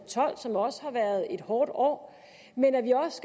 og tolv som også har været et hårdt år men at vi også